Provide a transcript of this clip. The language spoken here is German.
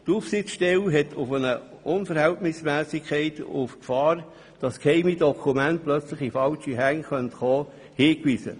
Die Aufsichtsstelle hat hier auf eine Unverhältnismässigkeit und die Gefahr hingewiesen, dass geheime Dokumente plötzlich in falsche Hände geraten könnten.